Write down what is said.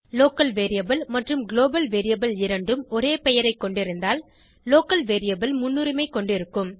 local variable மற்றும் global variable இரண்டும் ஒரே பெயரைக் கொண்டிருந்தால் லோக்கல் வேரியபிள் முன்னுரிமை கொண்டிருக்கும்